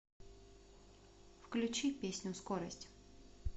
включи песню скорость